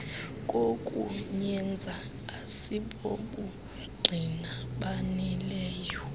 kokuyenza asibobungqina baneleyo